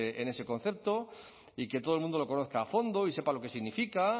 en ese concepto y que todo el mundo lo conozca a fondo y sepa lo que significa